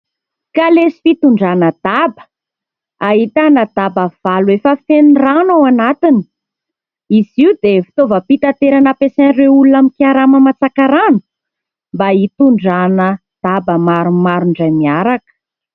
Kalesa fitondrana daba. Ahitana daba valo efa feno rano ao anatiny. Izy io dia fitaovam-pitaterana ampiasain'ireo olona mikarama mantsaka rano mba hitondrana daba maromaro indray miaraka.